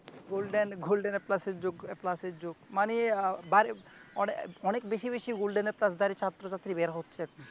golden, golden A প্লাসের যুগ, A প্লাসের যুগ মানি আহ অনে~ অনেক বেশি বেশি গোল্ডেন এ প্লাসধারী ছাত্র ছাত্রী বের হচ্ছে এখন